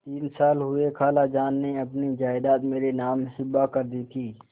तीन साल हुए खालाजान ने अपनी जायदाद मेरे नाम हिब्बा कर दी थी